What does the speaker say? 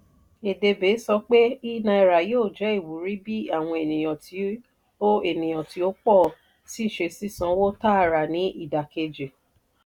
edebe sọ pé e-naira yóò jẹ ìwúrí bí àwọn ènìyàn ti o ènìyàn ti o pọ si ṣe sísánwó tààrà ni ìdákejì.